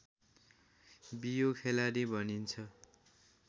बियो खेलाडी भनिन्छ